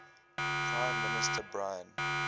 prime minister brian